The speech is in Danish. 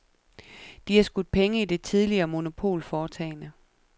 De har skudt penge i det tidligere monopolforetagende.